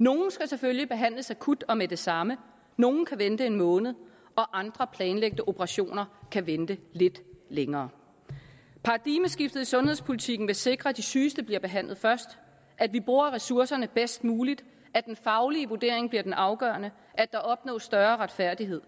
nogle skal selvfølgelig behandles akut og med det samme nogle kan vente en måned og andre planlagte operationer kan vente lidt længere paradigmeskiftet i sundhedspolitikken vil sikre at de sygeste bliver behandlet først at vi bruger ressourcerne bedst muligt at den faglige vurdering bliver den afgørende at der opnås større retfærdighed